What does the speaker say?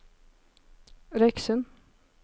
Røyksund